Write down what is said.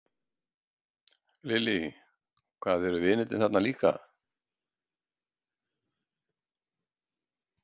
Lillý: Hvað eru vinirnir þar líka?